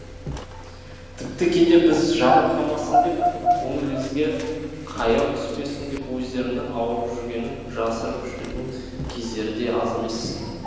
тіпті кейде біз жабырқамасын деп көңілімізге қаяу түспесін деп өздерінің ауырып жүргенін жасырып жүретін кездері де аз емес